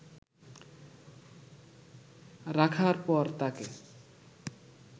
রাখার পর তাকে